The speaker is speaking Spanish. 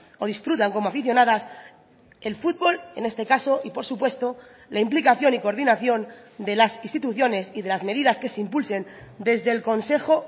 o disfrutan como aficionadas el fútbol en este caso y por supuesto la implicación y coordinación de las instituciones y de las medidas que se impulsen desde el consejo